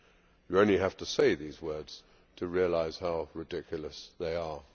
You only have to say these words to realise how ridiculous they are.